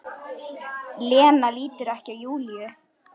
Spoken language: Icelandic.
Lena lítur ekki á Júlíu.